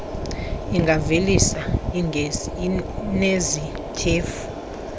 ingavelisa iigesi ezinetyhefu